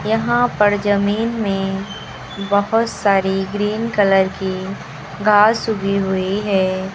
यहां पर जमीन में बहोत सारी ग्रीन कलर की घास उगी हुई है।